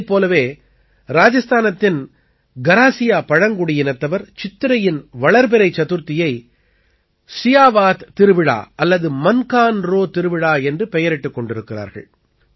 இதைப் போலவே ராஜஸ்தானத்தின் கராசியா பழங்குடியினத்தவர் சித்திரையின் வளர்பிறை சதுர்தசியை சியாவாத் திருவிழா அல்லது மன்கான் ரோ திருவிழா என்று பெயரிட்டுக் கொண்டாடுகிறார்கள்